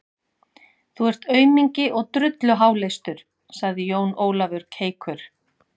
Þú ert aumingi og drulluháleistur, sagði Jón Ólafur keikur.